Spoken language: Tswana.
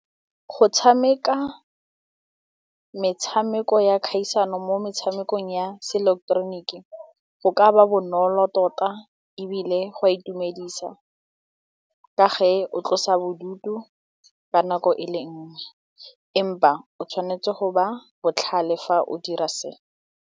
Go tshameka metshameko ya kgaisano mo metshamekong ya seileketeroniki go ka ba bonolo tota ebile go a itumedisa ka ge o tlosa bodutu ka nako e le nngwe empa o tshwanetse go ba botlhale fa o dira se.